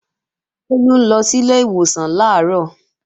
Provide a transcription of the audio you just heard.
Bólú ń lọ sílé ìwòsàn làárọ̀